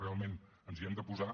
realment ens hi hem de posar